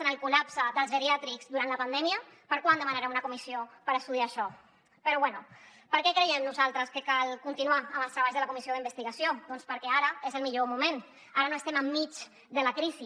en el col·lapse dels geriàtrics durant la pandèmia per quan demanarem una comissió per estudiar això però bé per què creiem nosaltres que cal continuar amb els treballs de la comissió d’investigació doncs perquè ara és el millor moment ara no estem enmig de la crisi